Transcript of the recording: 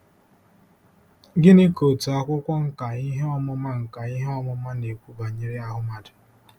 Gịnị ka otu akwụkwọ nkà ihe ọmụma nkà ihe ọmụma na-ekwu banyere ahụ mmadụ?